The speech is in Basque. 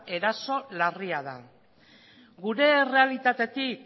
eraso larria da gure errealitatetik